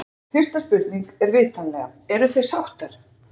Guðlaug, fyrsta spurning, er vitanlega: Eruð þið sáttar?